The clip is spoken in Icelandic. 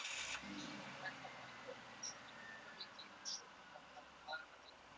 Það vildi svo til, að ég varð eins og grár köttur á tveim hæðum